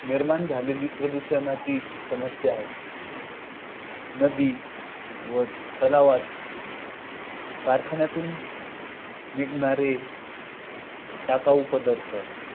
झालेली प्रदूषणाची समस्या आहे. नदी व तलावात कारखान्यातून निघणारे टाकाऊ पदार्थ